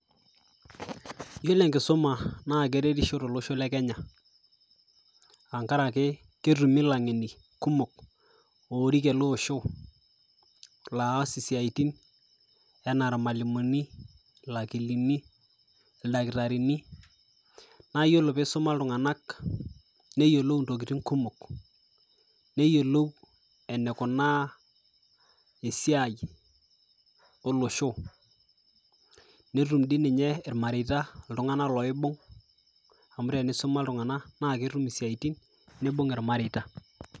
Kore eng'eno niyeu neishaakino nieta, piyas ena baye aaku taa piikut emaalo amu emaalo ena nadolita peekut oltungani naa inchere, keishaa nieta nimpractise nkolong'i kumok amu melelek nkutata ena toki, neishaa naa nilo netii ltunganak naaji looyolo ena siaai nikituutaki tenkuton naa kore esiaai kore embaye enkae naa keifaa niyiolou nieta ltunganak oota kuna masaa ashu ltungani oyiolo mpikata masaa oolmaasai oltungana ooyiolo aitibira, nikintobiraki peetumoki naa atalioi te sidai matejo naii tana igira aiparticipate, keishoru pisha sidai ajo oltungani ale oota seseni te ena siai naa eranyare.